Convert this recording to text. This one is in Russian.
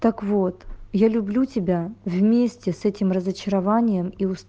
так вот я люблю тебя вместе с этим разочарованием и ус